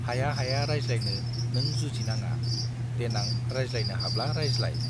हाया हाया रायज्लायनो नों जुजि नाङा देनां रायज्लायनो हाब्ला रायज्लाय।